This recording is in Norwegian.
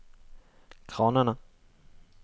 kranene